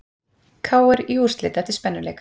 KR í úrslit eftir spennuleik